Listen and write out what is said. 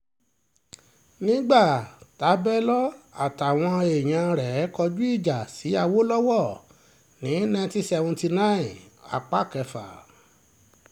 nígbà tabẹ́lọ́ àtàwọn èèyàn rẹ̀ kọjú ìjà sí àwòlọ́wọ́ ní ninety seventy nine apá kẹfà